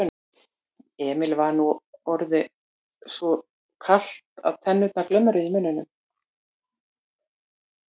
Emil var nú orðið svo kalt að tennurnar glömruðu í muninum.